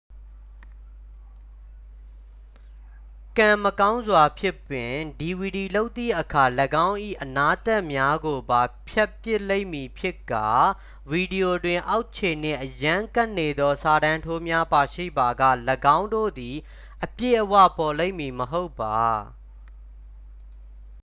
ကံမကောင်းစွာဖြင့်ပင် dvd လုပ်သည့်အခါ ၎င်း၏အနားသတ်များကိုပါ ဖြတ်ပစ်လိမ့်မည်ဖြစ်ကာ ဗီဒီယိုတွင် အောက်ခြေနှင့်အရမ်းကပ်နေသော စာတန်းထိုးများပါရှိပါက ၎င်းတို့သည် အပြည့်အဝပေါ်လိမ့်မည်မဟုတ်ပါ